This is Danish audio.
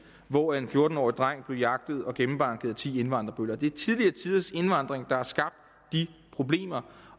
hvor en fjorten årig dreng blev jagtet og gennembanket af ti indvandrerbøller det er tidligere tiders indvandring der har skabt de problemer